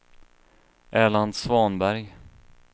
Erland Svanberg